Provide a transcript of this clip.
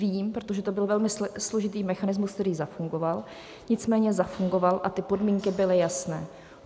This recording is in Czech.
Vím, protože to byl velmi složitý mechanismus, který zafungoval, nicméně zafungoval a ty podmínky byly jasné.